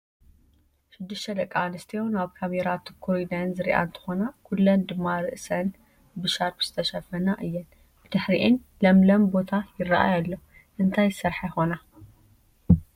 6+ ደቂ ኣንስትዮ ናብ ካሜራ ትኩር ኢለን ዝሪኣ እንትኾና ኩለን ድማ ርአሰን ብሻርኘ ዝተሸፈና እየን፡፡ ብድሕሪኤን ለምለም ቦታ ይራኣይ ኣሎ፡፡ እንታይ ዝስርሓ ይኾና?